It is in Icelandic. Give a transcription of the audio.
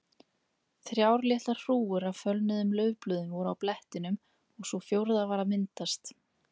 Þrjár litlar hrúgur af fölnuðum laufblöðum voru á blettinum og sú fjórða var að myndast.